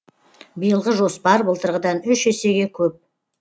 биылғы жоспар былтырғыдан үш есеге көп